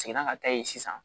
Seginna ka taa yen sisan